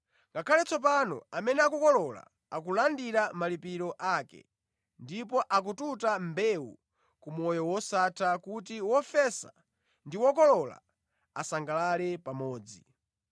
Ngakhale tsopano amene akukolola akulandira malipiro ake, ndipo akututa mbewu ku moyo wosatha kuti wofesa ndi wokolola asangalale pamodzi.